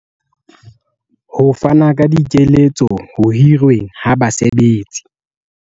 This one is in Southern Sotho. Ho fana ka dikeletso ho hirweng ha basebetsi.